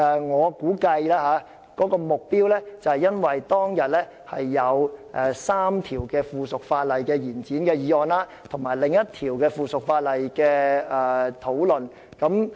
我估計，他們是針對當天有關3項延展附屬法例審議期的議案，以及另一項附屬法例的討論。